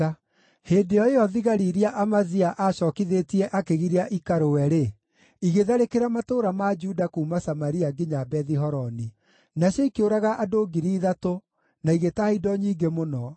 Hĩndĩ o ĩyo, thigari iria Amazia aacookithĩtie akĩgiria ikarũe-rĩ, igĩtharĩkĩra matũũra ma Juda kuuma Samaria nginya Bethi-Horoni. Nacio ikĩũraga andũ 3,000 na igĩtaha indo nyingĩ mũno.